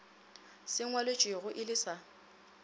se ngwalwetšwego e le sa